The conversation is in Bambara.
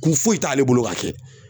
Kun foyi t'ale bolo k'a kɛ